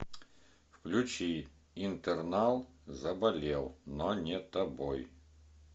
включи интернал заболел но не тобой